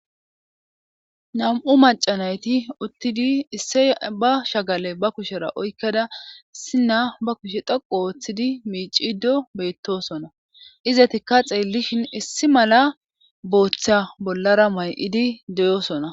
nam7u macanayti uttidi isse ba shagale ba kushera oykkada sina ba kushe dhoqu ooththidi miicido beettosona izetikka xeellishin issi mala booththa bollara may7idi deyosona